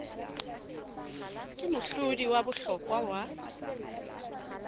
ke mohlodi wa bohlokwa wa